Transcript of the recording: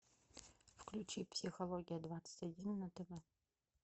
включи психология двадцать один на тв